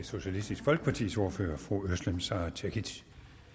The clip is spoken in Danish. socialistisk folkepartis ordfører fru özlem sara cekic